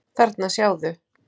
Þarna, sjáðu